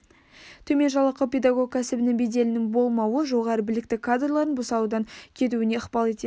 төмен жалақы педагог кәсібінің беделінің болмауы жоғары білікті кадрлардың бұл саладан кетуіне ықпал етеді